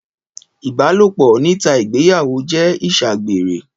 Ìbàlópọ̀ nítà ìgbeyàwo jẹ Iṣàgbẹrẹ.